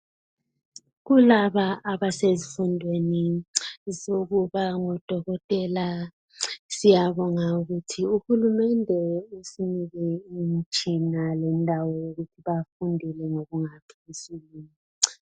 Kulaba abasezifundweni zokuba ngodokotela siyabonga ukuthi uhulumende usinike imitshina lendawo yokuthi bafundele.